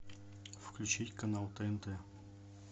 включить канал тнт